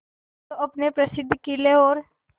जो अपने प्रसिद्ध किले और